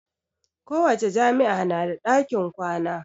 Kowace jami'a na da ɗakin kwana